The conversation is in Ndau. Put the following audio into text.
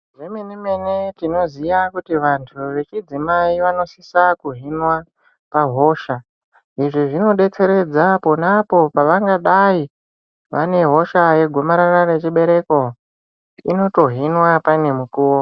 Zvemene-mene tinoziya kuti vantu vechidzimai vanosisa kuhinwa pahosha. Izvi zvinobetseredza aponapo pavangadai vane hosha yegomarara rechibereko, inotohinwa paine mukuvo.